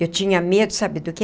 Eu tinha medo, sabe do quê?